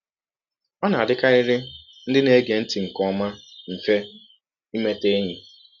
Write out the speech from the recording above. Ọ na - adịkarịrị ndị na - ege ntị nke ọma mfe imeta enyi.